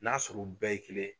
N'a sɔrɔ u bɛɛ ye kelen.